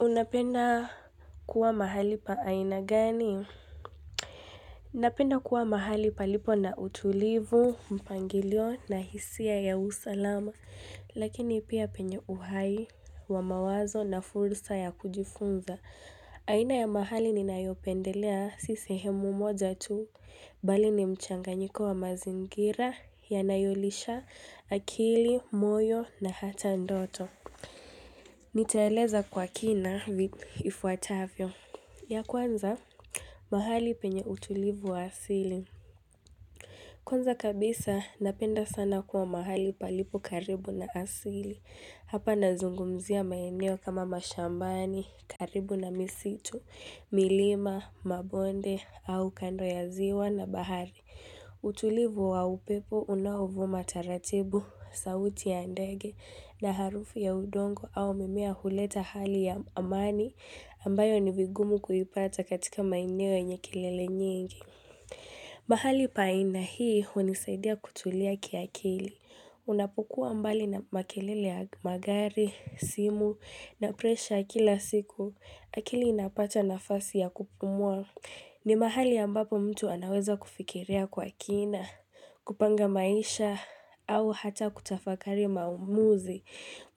Unapenda kuwa mahali pa aina gani? Ninapenda kuwa mahali palipo na utulivu, mpangilio na hisia ya usalama. Lakini pia penye uhai wa mawazo na fursa ya kujifunza. Aina ya mahali ni nayopendelea si sehemu moja tu. Bali ni mchanganyiko wa mazingira yanayolisha akili, moyo na hata ndoto. Nitaeleza kwa kina ifuatavyo. Ya kwanza mahali penye utulivu wa asili Kwanza kabisa napenda sana kuwa mahali palipo karibu na asili Hapa nazungumzia maeneo kama mashambani, karibu na misitu, milima, mabonde au kando ya ziwa na bahari utulivu wa upepo unaovuma taratibu, sauti ya ndege na harufu ya udongo au mimea huleta hali ya amani ambayo ni vigumu kuipata katika maeneo yenye kelele nyingi mahali pa aina hii hunisaidia kutulia kiakili Unapokuwa mbali na makelele ya magari, simu na presha kila siku akili inapata nafasi ya kupumua ni mahali ambapo mtu anaweza kufikiria kwa kina, kupanga maisha au hata kutafakari maamuzi